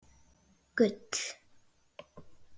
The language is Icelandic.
Gull